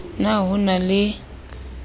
p na ho na le